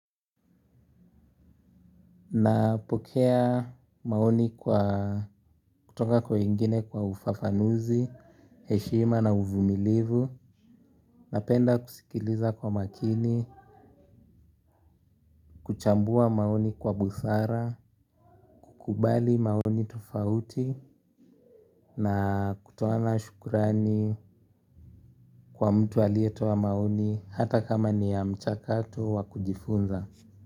Napokea maoni kutoka kwa wengine kwa ufafanuzi, heshima na uvumilivu. Napenda kusikiliza kwa makini, kuchambua maoni kwa busara, kukubali maoni tofauti. Na kutoana shukurani kwa mtu aliyetoa maoni hata kama ni ya mchakato wakujifunza.